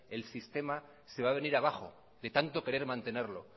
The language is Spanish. el sistema se va a venir abajo de tanto querer mantenerlo